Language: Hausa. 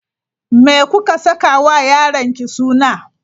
Me kuka saka wa yaronki suna?